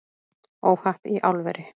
Óhapp í álveri